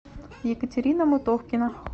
екатерина мутовкина